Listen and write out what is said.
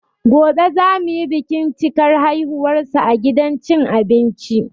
Goɓe za mu yi bikin cikar haihuwarsa a gidan cin abinci.